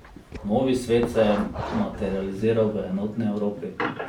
Novi svet se je materializiral v enotni Evropi.